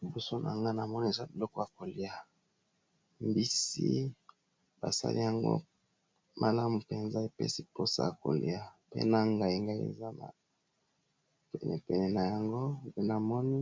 Liboso nanga na moni eza biloko ya kolia mbisi basali yango malamu mpenza epesi mposa ya kolia pe na ngai ngai eza penepene na yango pe namoni